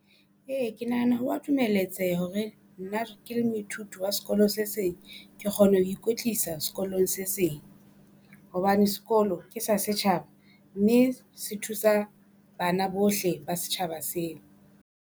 Ee ke nahana hwa dumeletseha hore nna le moithuti wa sekolo se seng. Ke kgona ho ikwetlisa sekolong se seng, hobane sekolo ke sa setjhaba mme se thusa bana bohle ba setjhaba sena.